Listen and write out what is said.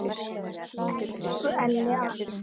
Elsku Elli afi.